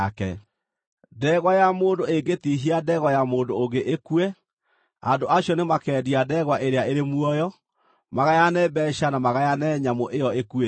“Ndegwa ya mũndũ ĩngĩtihia ndegwa ya mũndũ ũngĩ ĩkue, andũ acio nĩmakendia ndegwa ĩrĩa ĩrĩ muoyo, magayane mbeeca na magayane nyamũ ĩyo ĩkuĩte.